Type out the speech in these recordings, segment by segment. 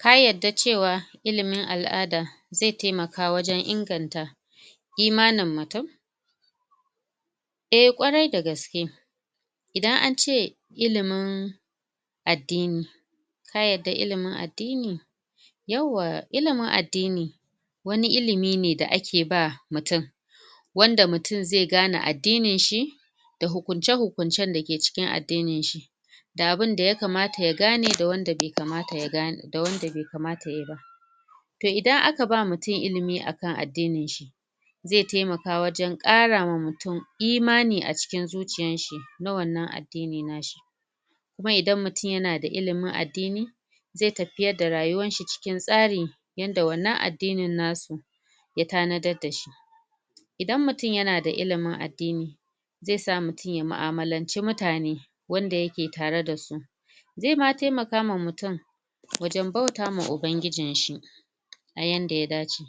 ka yadda cewa ilimin al'ada zai taimaka inganta imanin mutum a ƙwari dagaske idan aka ce ilimin addini ka yadda ilimin addini yawwa ilimin addini wani ilimi ne ake ba mutum wanda mutum zai gane addinin shi da hukucen hukucen da yake cikin addinin shi da abun da yakamata ya gane da wanda bai kamata yayi ba toh idan aka ba wa mutum ilimi akan addinin shi zai taimaka wajen kara wa mutum imani a cikin zuciyar shi na wannan addini nashi ko idan mutum yana da ilimin addini zai tafiyar da rayuwan shi cikin tsari yanda wannan addini nasu ya tanadaddashi idan mutum yana da ilimin addini zai sa mutum ya mu'amalance mutane wanda yake tare dasu zai ma taimaka ma mutum wajen bauta ma ubangijin shi a yanda ya dace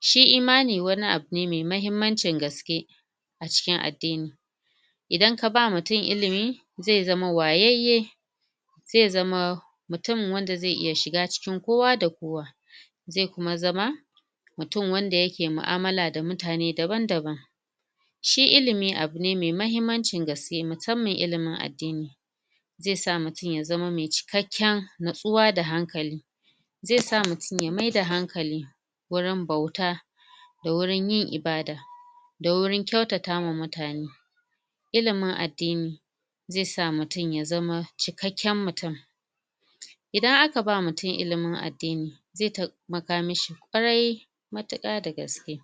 shi imani wani abune mai mahimmancin gaske a cikin addini idan ka bawa mutum ilimi zai zama wayayye zai zama mutum da zai iya shiga cikin kowa da kowa zai kuma zama mutum wanda yake mu'amala da mutane daban daban shi ilimi abune mai mahimmancin gaske musamman ilimin addini zai sa mutum ya zama mai cikakken natsuwa da hankali zai sa mutum ya maida hankali wurin bauta da wurin yin ibada da wurin ƙyatatawa mutane ilimin addini zai sa mutum ya zama cikakken mutum idan aka bawa mutum ilimin addini zai taimaka mishi ƙwari matuka dagaske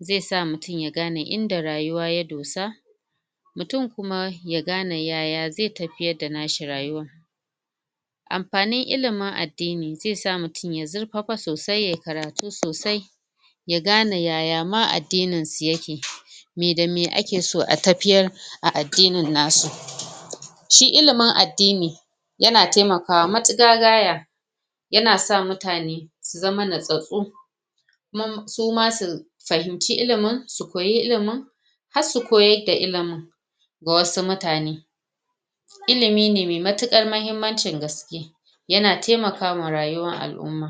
zai sa mutum ya gane inda rayuwa ya dosa mutum kuma ya gane yaya zai tafi da nashi rayuwan amfanin ilimin addini zai sa mutum ya zirfafa sosai yayi karatu sosai ya gane yaya ma addinin su yake meh da meh ake so a tafiyar a addinin nasu shi ilimin addini yanat taimakawa matuƙa gaya yana sa mutane su zama natsatsu suma su fahimci ilimin so koyi ilimin har su koyadda ilimin ga wasu mutane ilimi ne mai matuƙar gaske yana taimakawa rayuwan al'umma